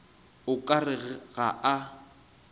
o ka re ga a